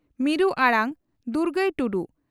ᱢᱤᱨᱩ ᱟᱲᱟᱝ (ᱫᱩᱜᱟᱹᱭ ᱴᱩᱰᱩ)